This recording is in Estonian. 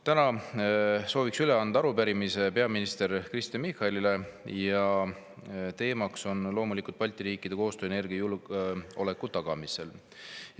Täna soovin üle anda arupärimise peaminister Kristen Michalile ja teemaks on loomulikult Balti riikide koostöö energiajulgeoleku tagamisel.